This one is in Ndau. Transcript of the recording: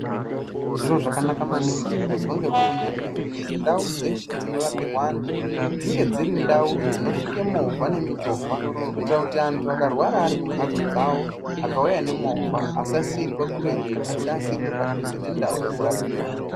Zviro zvakanaka maningi zviri kuizwe ngehurumende kuzi ndau dzeshe dzinorapirwe antu dzinge dziri ndau dzinosvike movha nemichovha kuitire kuti antu akarwara ari kumbatso dzawo akauya nemovha asasiirwe kuretu asi asiirwe padhuze nendau yekurapiwa.